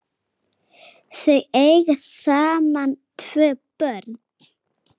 Þau eiga saman tvö börn.